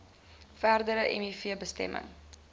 verdere miv besmetting